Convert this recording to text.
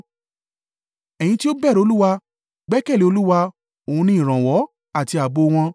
Ẹ̀ yin tí ó bẹ̀rù Olúwa, gbẹ́kẹ̀lé Olúwa: òun ní ìrànwọ́ àti ààbò wọn.